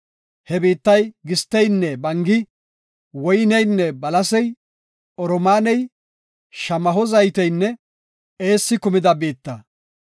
He biittay gisteynne bangi, woyneynne balasey, oromaaney, shamaho zayteynne eessi kumida biitta.